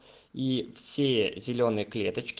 и всее зелёные клеточки